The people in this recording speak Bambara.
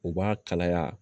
U b'a kalaya